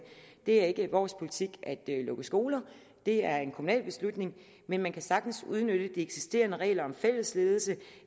det er ikke vores politik at lukke skoler det er en kommunal beslutning men man kan sagtens udnytte de eksisterende regler om fællesledelse